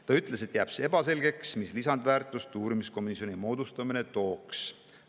Ta ütles, et jääb ebaselgeks, mis lisandväärtust uurimiskomisjoni moodustamine tooks.